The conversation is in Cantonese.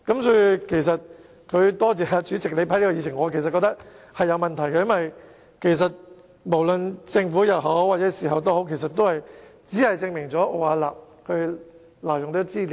他應該多謝主席批准他提出這項議案，但我認為其實有問題，因為政府事後也只能證明奧雅納挪用資料。